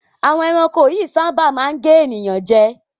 Àwọn ẹranko yíì máa ń sáábà gé ènìyàn jẹ